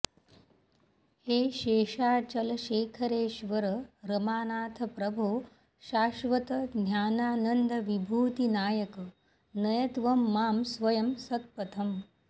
हे शेषाचलशेखरेश्वर रमानाथ प्रभो शाश्वत ज्ञानानन्दविभूतिनायक नय त्वं मां स्वयं सत्पथम्